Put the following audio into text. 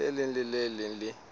leng le le leng le